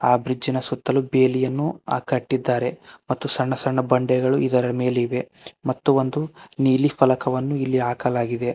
ಆ ಬ್ರಿಡ್ಜ್ ನ ಸುತ್ತಲು ಬೇಲಿಯನ್ನು ಆ ಕಟ್ಟಿದ್ದಾರೆ ಮತ್ತು ನನ್ನ ಬಂಡೆಗಳು ಇದರ ಮೇಲಿವೆ ಮತ್ತು ಒಂದು ನೀಲಿ ಫಲಕವನ್ನು ಇಲ್ಲಿ ಹಾಕಲಾಗಿದೆ.